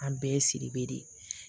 An bɛɛ siri be de